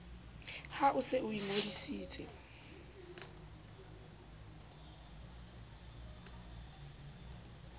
ha o se o ingodisitse